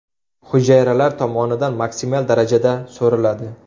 Hujayralar tomonidan maksimal darajada so‘riladi.